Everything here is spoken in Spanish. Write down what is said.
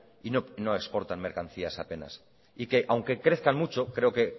y no exportan mercancías apenas y que aunque crezcan mucho creo que